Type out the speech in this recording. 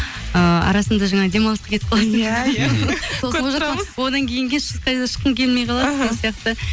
ыыы арасында жаңағы демалысқа кетіп одан кейін де ешқайда шыққың келмей қалады іхі сол сияқты